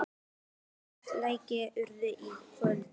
Geir, hvaða leikir eru í kvöld?